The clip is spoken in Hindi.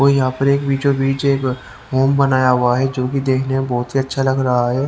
और यहां पर एक होम बनाया हुआ है जो की देखने में बहोत ही अच्छा लग रहा है।